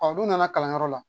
u nana kalanyɔrɔ la